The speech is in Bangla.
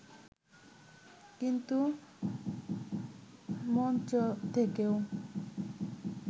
কিন্তু মঞ্চ থেকেও